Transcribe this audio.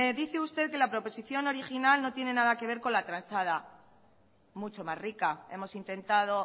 dice usted que la proposición original no tiene nada que ver con la transada mucho más rica hemos intentado